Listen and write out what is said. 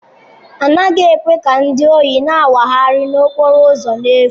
A naghị ekwe ka ndị ohi na-awagharị n'okporo ụzọ n'efu.